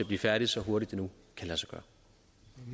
blive færdige så hurtigt det nu lade